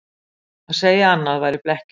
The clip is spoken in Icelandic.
Að segja annað væri blekking